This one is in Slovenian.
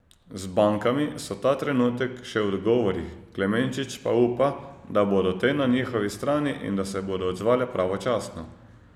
Z bankami so ta trenutek še v dogovorih, Klemenčič pa upa, da bodo te na njihovi strani in da se bodo odzvale pravočasno.